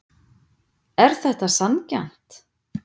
Er þetta sanngjarnt